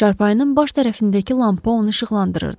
Çarpayının baş tərəfindəki lampa onu işıqlandırırdı.